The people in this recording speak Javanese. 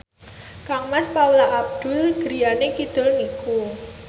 kangmas Paula Abdul griyane kidul niku